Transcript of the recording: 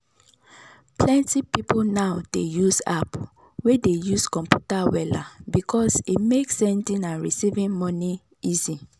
plenty people now dey use app way dey use computer wella because e make sending and receiving money easy.